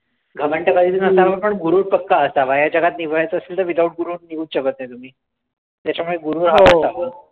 घमंड तर पण गुरूर पक्का असावा ह्या जगात निभवायचं असेल तर without गुरूर निभावुच शकतं नाही. त्याच्यामुळे गुरूर हा